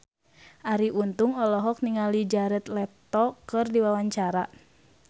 Arie Untung olohok ningali Jared Leto keur diwawancara